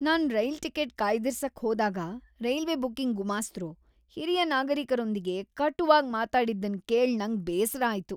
ನಾನ್ rail ticket ಕಾಯ್ದಿರ್ಸಕ್ಕೆ ಹೋದಾಗ railway booking ಗುಮಾಸ್ತರು ಹಿರಿಯ ನಾಗರಿಕರೊಂದಿಗೆ ಕಟುವಾಗ್ ಮಾತಾಡಿದ್ದನ್ ಕೇಳ್ ನಂಗ್ ಬೇಸರ ಆಯ್ತು.